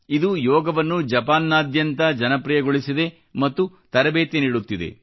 ಇದು ಯೋಗವನ್ನು ಜಪಾನ್ನಾದ್ಯಂತ ಜನಪ್ರಿಯಗೊಳಿಸಿದೆ ಮತ್ತು ತರಬೇತಿ ನೀಡುತ್ತಿದೆ